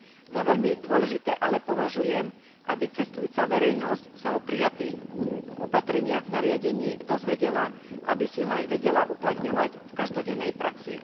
Za veľmi dôležité ale považujem, aby cestujúca verejnosť sa o prijatých opatreniach v nariadení dozvedela, aby si ich aj vedela uplatňovať v každodennej praxi.